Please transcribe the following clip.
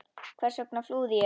Hvers vegna flúði ég?